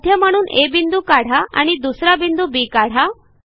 मध्य म्हणून आ बिंदू काढा आणि दुसरा बिंदू बी काढा